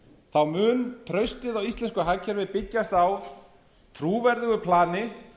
þá mun traustið á íslensku hagkerfi byggjast á trúverðugu plani